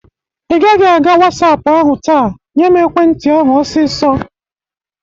Ị gaghị aga WhatsApo ahụ taa. Nyem ekwe nti ahụ ọsịsọ!